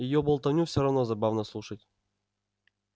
её болтовню всё равно забавно слушать